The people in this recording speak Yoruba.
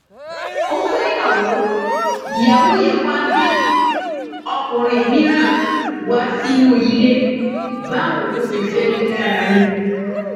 ó fẹyàwó ìyàwó yẹn wàá gbé ọkùnrin mìíràn wá sínú ilé báwo ló ṣe fẹẹ rí lára yín